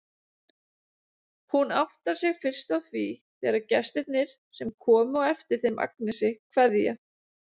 Hún áttar sig fyrst á því þegar gestirnir, sem komu á eftir þeim Agnesi, kveðja.